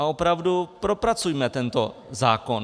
A opravdu propracujme tento zákon.